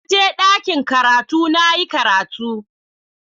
Na je dakin karatu na yi karatu.